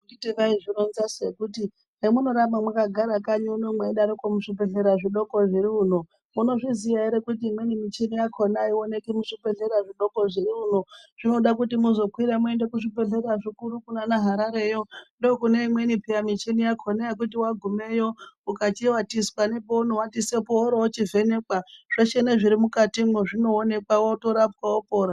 Handiti vaizvironzasu yekuti hemunoramba mwakagara kanyi mweidaroko muzvibhehlera zvidoko zviri uno munozviziya here kuti imweni michini yakona haioneki muzvibhehlera zvidoko zviri uno. Zvinoda kuti muzokwira muende kuzvibhehlera zvikuru kunaana Harareyo. Ndookuneimweni peya michini yakona yekuti wagumeyo ukachivatiswa nepounovatiswepo woorochivhenekwa, zveshe nezvimukatimwo zvinoonekwa wotorapwa wopora.